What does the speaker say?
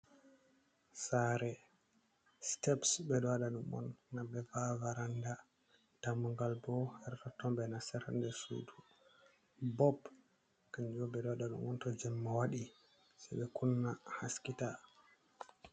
Sare steps be ɗo waɗa ɗum on ngam ɓe va’a varanda dammugal bo her toton ɓe nasirta sudu, bob kanjum ɓe ɗo waɗa ɗum on to jemma waɗi se ɓe kunna haski ta.